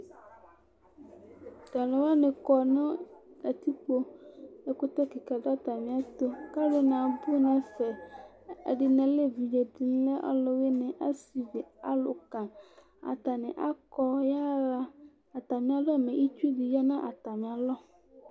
Tʋ alʋ wanɩ kɔ nʋ kǝtikpoƐkʋtɛ kɩka dʋ atamɩɛtʋ, kalʋ nɩ abʋ nɛfɛ; ɛdɩnɩ alɛ evidze, ɛdɩnɩ alɛ ɔlʋ wɩnɩ, asɩvi, alʋka atanɩ akɔ ya ɣa atamɩalɔ mɛ itsu dɩ ya nʋ atamɩalɔ